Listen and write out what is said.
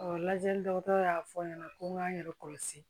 lajɛli dɔgɔtɔrɔ y'a fɔ n ɲɛna ko n k'an yɛrɛ kɔlɔsi